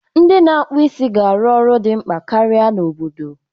Ndị na-akpụ isi ga-arụ ọrụ dị mkpa karịa n’obodo.